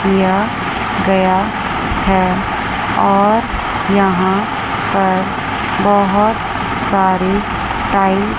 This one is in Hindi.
किया गया है और यहां पर बहोत सारी टाइल --